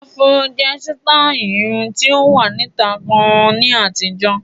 Áfúró jẹ́ sítáì irun tí ó wà níta gan ní àtijọ́.